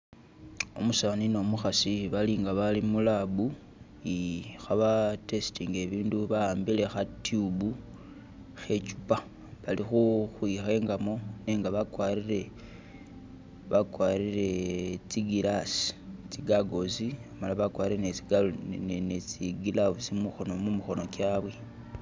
Umusani ne umukhasi bali nga abali mu lab eh khaba testinga ibindu ba'ambile kha tube khe ichupa , bali khukhwikhengamo nenga bakwarire, bakwarire tsi glass , tsi gurgles , amala bakwarire ne tsi gloves mu mikhono kyabwe